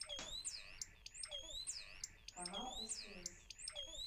канал стс